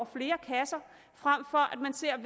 flere kasser frem for at man ser